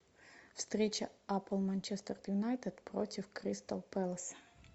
встреча апл манчестер юнайтед против кристал пэлас